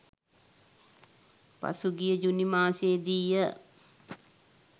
පසුගිය ජුනි මාසයේදීය.